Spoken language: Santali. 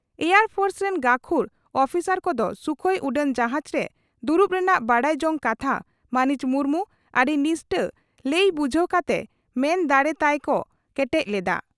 ᱮᱭᱟᱨ ᱯᱷᱳᱨᱥ ᱨᱮᱱ ᱜᱟᱹᱠᱷᱩᱲ ᱩᱯᱤᱥᱟᱨ ᱠᱚᱫᱚ ᱥᱩᱠᱷᱚᱭ ᱩᱰᱟᱹᱱ ᱡᱟᱦᱟᱡᱽ ᱨᱮ ᱫᱩᱲᱩᱵ ᱨᱮᱱᱟᱜ ᱵᱟᱰᱟᱭ ᱡᱚᱝ ᱠᱟᱛᱷᱟ ᱢᱟᱹᱱᱤᱡ ᱢᱩᱨᱢᱩ ᱟᱹᱰᱤ ᱱᱤᱥᱴᱟᱹ ᱞᱟᱹᱭ ᱵᱩᱡᱷᱟᱹᱣ ᱠᱟᱛᱮ ᱢᱟᱱ ᱫᱟᱲᱮ ᱛᱟᱭ ᱠᱚ ᱠᱮᱴᱮᱡ ᱞᱮᱫᱼᱟ ᱾